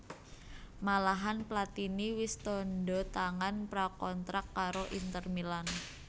Malahan Platini wis tandha tangan pra kontrak karo Inter Milan